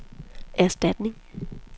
erstatning